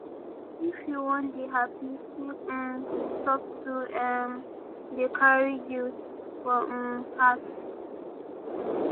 if you wan dey happy make um you stop to um dey carry guilt for um heart